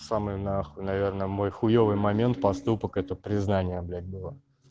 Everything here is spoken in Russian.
самые на хуй наверное мой хуевый момент поступок это признание блять было